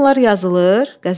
Bütün bunlar yazılır?